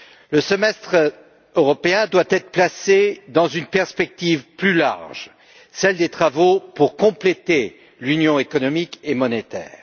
Le Semestre européen doit être placé dans une perspective plus large, celle des travaux pour compléter l'Union économique et monétaire.